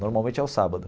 Normalmente é o sábado.